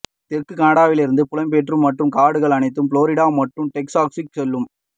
தெற்கு கனடாவிலிருந்து புலம்பெயர் மற்றும் காடுகள் அனைத்தும் புளோரிடா மற்றும் டெக்சாஸுக்கு செல்லும்